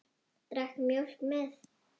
Drakk mjólk með.